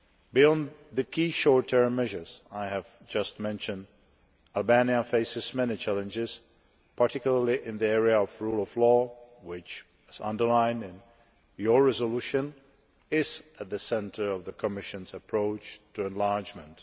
Beyond the key short term measures I have just mentioned, Albania faces many challenges, particularly in the area of the rule of law, which, as underlined in your resolution, is at the centre of the Commission's approach to enlargement.